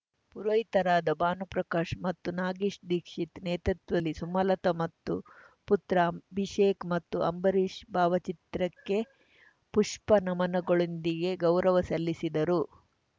ಪುರೋಹಿತರಾದ ಭಾನು ಪ್ರಕಾಶ್‌ ಮತ್ತು ನಾಗೇಶ್‌ ದೀಕ್ಷಿತ್‌ ನೇತೃತ್ವದಲ್ಲಿ ಸುಮಲತಾ ಮತ್ತು ಪುತ್ರ ಅಭಿಷೇಕ್‌ ಮತ್ತು ಅಂಬರೀಷ್‌ ಭಾವಚಿತ್ರಕ್ಕೆ ಪುಷ್ಪ ನಮನಗಳೊಂದಿಗೆ ಗೌರವ ಸಲ್ಲಿಸಿದರು